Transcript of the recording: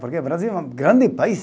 Porque o Brasil é um grande país.